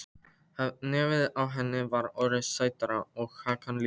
Nefið á henni var orðið stærra og hakan líka.